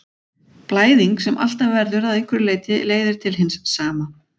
Blæðing sem alltaf verður að einhverju leyti leiðir til hins sama.